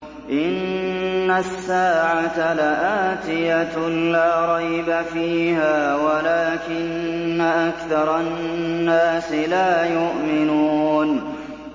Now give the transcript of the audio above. إِنَّ السَّاعَةَ لَآتِيَةٌ لَّا رَيْبَ فِيهَا وَلَٰكِنَّ أَكْثَرَ النَّاسِ لَا يُؤْمِنُونَ